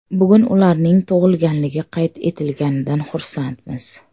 Bugun ularning tug‘ilganligi qayd etilganidan xursandmiz.